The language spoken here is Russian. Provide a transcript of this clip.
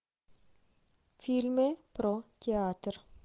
фильмы про театр